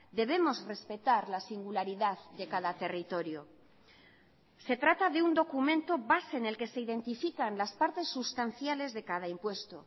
debemos respetar la singularidad de cada territorio se trata de un documento base en el que se identifican las partes sustanciales de cada impuesto